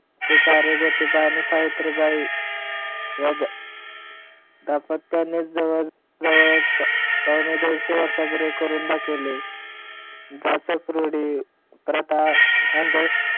ते कार्य ज्योतिबा आणि सावित्रीबाई या दाम्पत्यांनी जवळजवळ पावणे दोनशे वर्षे पूर्वी करून दाखवले जाचक रूढी, प्रथा, अंध